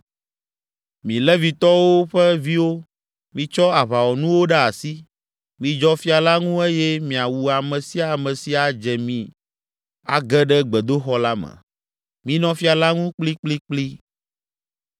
Mi Levitɔwo ƒe viwo, mitsɔ aʋawɔnuwo ɖe asi, midzɔ fia la ŋu eye miawu ame sia ame si adze mi age ɖe gbedoxɔ la me. Minɔ fia la ŋu kplikplikpli!”